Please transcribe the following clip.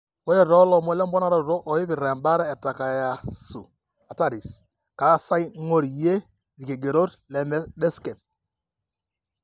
Ore toolomon lemponaroto oipirta embaata eTakayasu arteritis, kaasai ing'orie ilkigerot leMedscape.